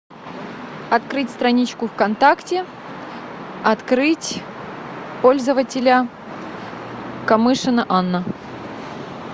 открыть страничку вконтакте открыть пользователя камышина анна